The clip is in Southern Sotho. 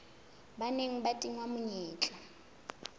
ba neng ba tingwa menyetla